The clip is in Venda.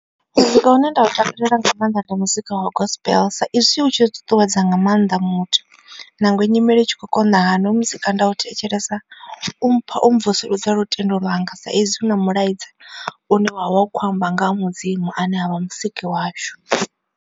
Muzika une nda u takalela nga maanḓa ndi muzika wa gospel sa izwi u tshi ṱuṱuwedza nga maanḓa muthu. Nangwe nyimele i tshi khou konḓa hani hoyu muzika nda u thetshelesa u mpha u mvusuludza lutendo lwanga sa ezwi hu na mulwaedze une wavha u kho amba nga ha mudzimu ane a vha musiki washu.